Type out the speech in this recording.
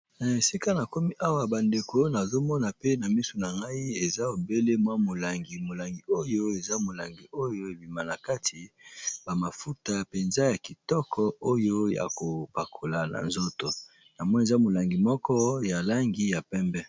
Na esika na komi awa bandeko nazomona pe na misu na ngai eza obele mwa molangi, molangi oyo eza molangi oyo ebima na kati bamafuta penza ya kitoko oyo ya kopakola na nzoto namoni eza molangi moko ya langi ya pembe.